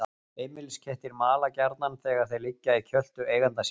Heimiliskettir mala gjarnan þegar þeir liggja í kjöltu eiganda síns.